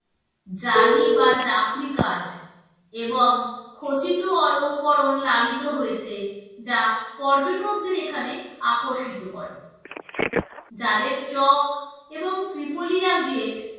জালি বা জাফরী কাজ এবং খচিত অলঙ্করন লালিত হয়েছে যা পর্যটকদের এখানে আকর্ষিত করে জালের চখ এবং ত্রিপলিয়া gate